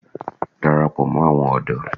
Darapọ̀ mọ́ àwọn ọ̀dọ́!